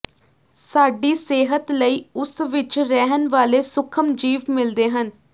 ਸਾਡੀ ਸਿਹਤ ਲਈ ਉਸ ਵਿਚ ਰਹਿਣ ਵਾਲੇ ਸੂਖਮ ਜੀਵ ਮਿਲਦੇ ਹਨ